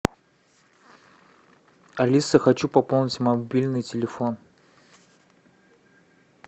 алиса хочу пополнить мобильный телефон